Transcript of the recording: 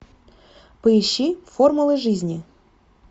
поищи формула жизни